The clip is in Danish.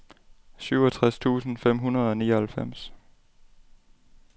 syvogtres tusind fem hundrede og nioghalvfems